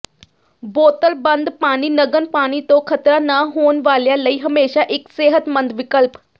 ਬੋਤਲਬੰਦ ਪਾਣੀ ਨਗਨ ਪਾਣੀ ਤੋਂ ਖਤਰਾ ਨਾ ਹੋਣ ਵਾਲਿਆਂ ਲਈ ਹਮੇਸ਼ਾ ਇੱਕ ਸਿਹਤਮੰਦ ਵਿਕਲਪ